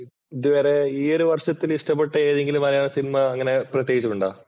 ഇതുവരെ ഈ ഒരു വർഷത്തിൽ ഇഷ്ടപ്പെട്ട ഏതെങ്കിലും മലയാള സിനിമ അങ്ങനെ പ്രത്യേകിച്ച് ഉണ്ടോ?